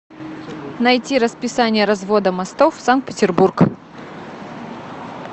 найти расписание развода мостов санкт петербург